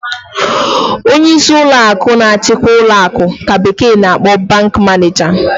Onyeisi ụlọ akụ na-achikwa ụlọ akụ ka bekee na-akpọ 'bank manager.'